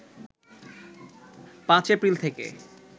৫ April থেকে